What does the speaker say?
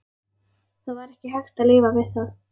Það var hægt að lifa við það.